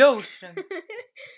ljósum.